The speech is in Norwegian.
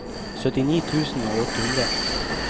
syttini tusen og åtte hundre